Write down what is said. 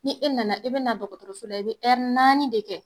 Ni e nana i be na dɔgɔtɔrɔso la i be naani de kɛ.